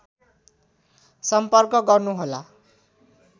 सक्पर्क गर्नुहोला